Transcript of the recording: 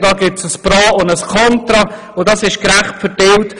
Dort gibt es ein Pro und ein Kontra, und das ist gerecht aufgeteilt.